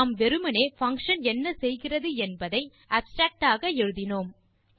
நாம் வெறுமே பங்ஷன் என்ன செய்கிறது என்பதை அப்ஸ்ட்ராக்ட் ஆக எழுதினோம்